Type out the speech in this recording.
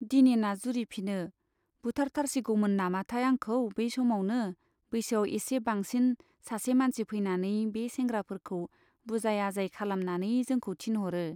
दिनेना जुरिफिनो, बुथारथारसिगौमोन नामाथाय आंखौ, बे समावनो बैसोआव एसे बांसिन सासे मानसि फैनानै बे सेंग्राफोरखौ बुजाय आजाय खालामनानै जोंखौ थिनह'रो।